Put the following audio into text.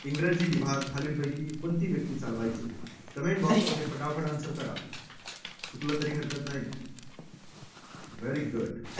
इंग्रजी विभाग हा खालीलपैकी कोणती व्यक्ती चालवायचे? comment box मध्ये फटाफट answer करा चुकलं तरी हरकत नाही. very good